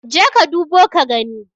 jeka ka dubo ka gani?